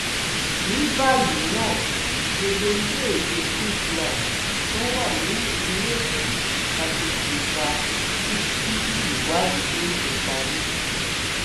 ní báyìí ná gbogbo iléèwé chrisland tó wà nípìnlẹ èkó la ti ti pa títí ìwádìí yóò fi parí